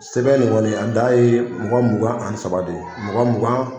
Sɛbɛn nin kɔni a dan ye mɔgɔ mugan ani saba de ye mɔgɔ mugan